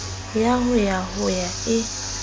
ya ho ya ho e